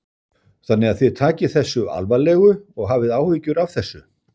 Þannig að þið takið þessu alvarlegu og hafið áhyggjur af þessu?